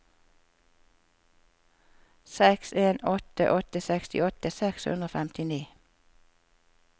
seks en åtte åtte sekstiåtte seks hundre og femtini